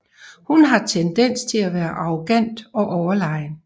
Hun har tendens til at være arrogant og overlegen